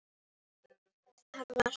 Þar var